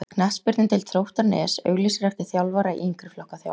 Knattspyrnudeild Þróttar Nes auglýsir eftir þjálfara í yngri flokka þjálfun.